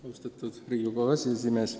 Austatud Riigikogu aseesimees!